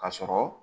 Ka sɔrɔ